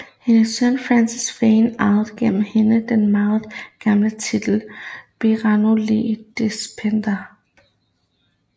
Hendes søn Francis Fane arvede gennem hende den meget gamle titel Baron le Despencer